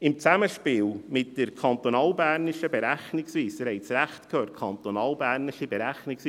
Im Zusammenspiel mit der kantonalbernischen Berechnungsweise – Sie haben es richtig gehört: kantonalbernischen Berechnungsweise;